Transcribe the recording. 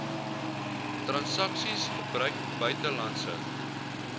transaksies gebruik buitelandse